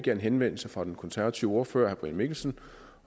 en henvendelse fra den konservative ordfører herre brian mikkelsen